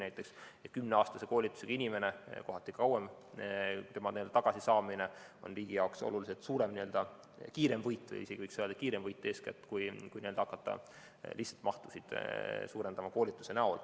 See on kümneaastase, kohati pikema koolitusega inimene, tema tagasisaamine on riigi jaoks oluliselt kiirem võit, eeskätt, kui see, et hakata lihtsalt koolituse mahtu suurendama.